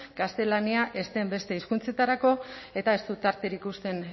gaztelania ez den beste hizkuntzetarako eta ez du tarterik uzten